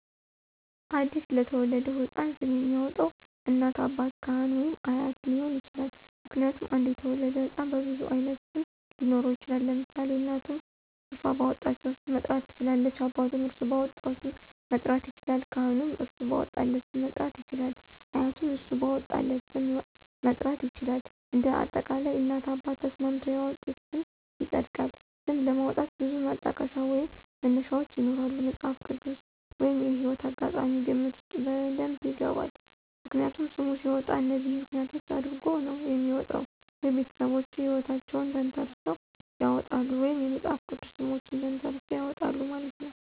አዲስ ለተወለደው ሕፃን ስም የሚያወጣው እናት፣ አባት፣ ካህን ወይም አያት ሊሆን ይችላል። ምክንያቱም አንድ የተወለደ ህፃን በብዙ አይነት ስም ሊኖረው ይችላል ለምሳሌ እናቱም እራሶ ባወጣቸው ሰም መጥራት ትችላለች አባቱም እራሱ ባወጣው ስም መጥራት ይችላለል ካህኑም እራሱ ባወጣለት ስም መጥራት ይችላል አያቱም እሱ ባወጣለት ስ??? ም መጥራት ይችላል እንደ አጠቃላይ እናት አባት ተስማምተው ያወጡት ስም ይፀድቃል። ስም ለማውጣት ብዙ ማጠቀሻ ወይም መነሻዎች ይኖራሉ መፅሃፍ ቅድስ ወይም የህይወት አጋጣሚ ግምት ውስጥ በደብ ይገባል። ምክንያቱም ሰም ሲወጣ እነዚህን ምክንያት አድረጎ ነው የሚወጣው ወይ ቤተሰቦቹ ሕይወታቸውን ተንተረሰው ያውጣሉ ወይም የመፅሐፍ ቅድስ ሰሞችን ተንተራሰው ያወጣሉ ማለት ነው።